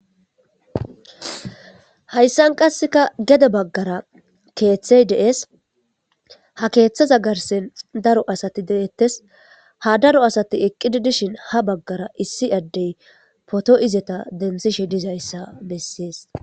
Hayssan qasseka gede baggara keeththey de'es ha keeththaza garsen daro asati deettes ha daro asati eqqidi dishin ha baggara issi addey poto izeta densishe dizayssa bessiyes